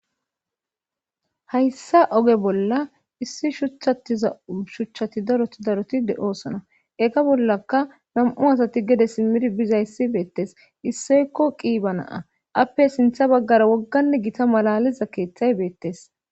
Hayssa oge bolla issi shuthatiza shuchchati daroti daroti de7oosana ega bollaka nam7u asati gede simmir bizayssi beettes issoykko qiiba naa appe sintha baggara wogganne gita malaliza keeththay beettes.